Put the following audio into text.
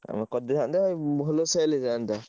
ଆଉ କରିଦେଇଥାନ୍ତେ ଭଲ sale ହେଇଥାନ୍ତା।